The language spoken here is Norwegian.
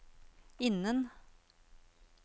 innen